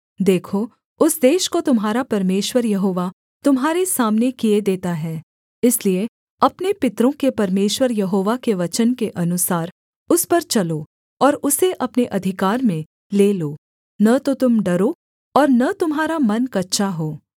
देखो उस देश को तुम्हारा परमेश्वर यहोवा तुम्हारे सामने किए देता है इसलिए अपने पितरों के परमेश्वर यहोवा के वचन के अनुसार उस पर चलो और उसे अपने अधिकार में ले लो न तो तुम डरो और न तुम्हारा मन कच्चा हो